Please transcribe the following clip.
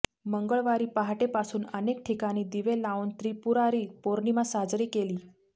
मंगळवारी पहाटेपासून अनेकठिकाणी दिवे लावून त्रिपुरारी पौर्णिमा साजरी केली